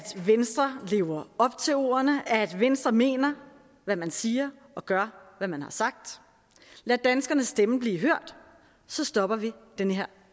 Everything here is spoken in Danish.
venstre lever op til ordene og at venstre mener hvad man siger og gør hvad man har sagt lad danskernes stemme blive hørt så stopper vi den her